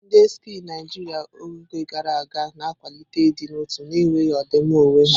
Ndị Sikh Naijiria n'oge gara aga, na akwalite ịdị n'otu na enweghị ọdịmma onwe ya.